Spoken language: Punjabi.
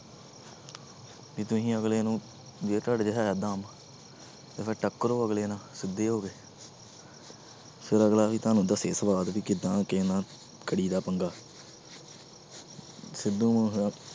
ਵੀ ਤੁਸੀਂ ਅਗਲੇ ਨੂੰ ਜੇ ਤੁਹਾਡੇ 'ਚ ਹੈ ਦਮ ਤੇ ਫਿਰ ਟੱਕਰੋ ਅਗਲੇ ਨਾਲ ਸਿੱਧੇ ਹੋ ਕੇ ਫਿਰ ਅਗਲਾ ਵੀ ਤੁਹਾਨੂੰ ਦੱਸੇ ਸਵਾਦ ਵੀ ਕਿੱਦਾਂ ਕਿਸੇ ਨਾਲ ਕਰੀਦਾ ਪੰਗਾ ਸਿੱਧੂ ਮੂ~